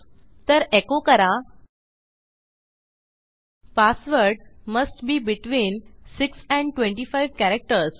तर एको करा password must be between 6 and 25 characters